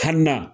Kan na